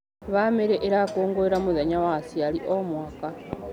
Bamĩrĩ ĩrakũngũĩra mũthenya wa aciari o mwaka.